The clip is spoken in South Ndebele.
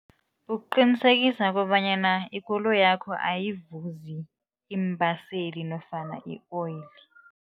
Ukuqinisekisa kobanyana ikoloyakho ayivuzi iimbaseli nofana i-oil.